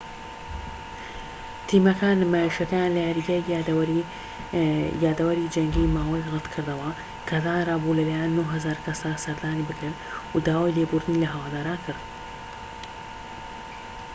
تیمەکە نمایشەکەیان لە یاریگای یادەوەری جەنگی ماوی ڕەتکردەوە کە دانرا بوو لە لایەن 9,000 کەسە سەردانی بکرێت و داوای لێبوردنی لە هەواداران کرد